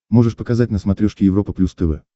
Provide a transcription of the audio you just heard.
можешь показать на смотрешке европа плюс тв